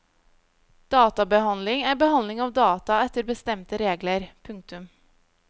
Databehandling er behandling av data etter bestemte regler. punktum